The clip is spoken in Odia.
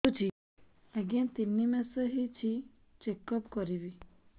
ଆଜ୍ଞା ତିନି ମାସ ହେଇଛି ଚେକ ଅପ କରିବି